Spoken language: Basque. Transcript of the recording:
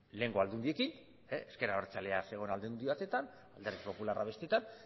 lehengo aldundiekin ezker abertzalea zegoen aldundi batean alderdi popularra bestetan